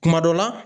Kuma dɔ la